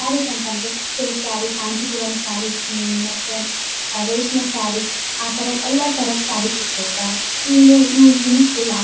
ಸ್ಯಾರೀಸ್‌ ಅಂತಂದ್ರೆ ಸಿಲ್ಕ್‌ ಸಾರಿ ಕಾಂಚೀಪುರಮ್‌ ಸಾರಿಸ್ ಮತ್ತೆ‌ ರೇಷ್ಮೆ ಸಾರಿ . ಆತರ ಎಲ್ಲಾ ತರದ ಸಾರೀಸ್‌ ಸಿಕ್ತಿರ್ತಾವೆ. ಇಂಗೆ ಯೂಸ್‌ನು ಫುಲ್ಲ್‌ ಆ--